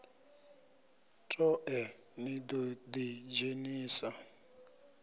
toe ni ḓo ḓi dzhenisa